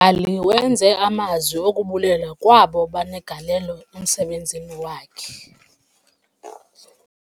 Umbhali wenze amazi okubulela kwabo babenegalelo emsebenzini wakhe.